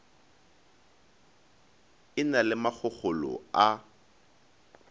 e na le makgokgolo a